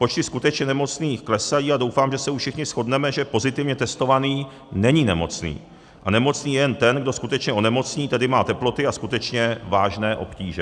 Počty skutečně nemocných klesají a doufám, že se už všichni shodneme, že pozitivně testovaný není nemocný a nemocný je jen ten, kdo skutečně onemocní, tedy má teploty a skutečně vážné obtíže.